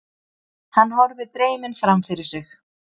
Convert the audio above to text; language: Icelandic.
Hann horfir dreyminn framfyrir sig.